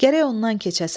Gərək ondan keçəsən.